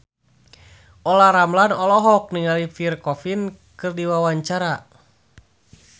Olla Ramlan olohok ningali Pierre Coffin keur diwawancara